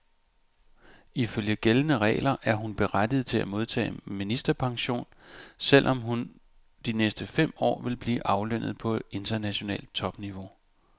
Ifølge gældende regler er hun berettiget til at modtage ministerpension, selv om hun de næste fem år vil blive aflønnet på internationalt topniveau.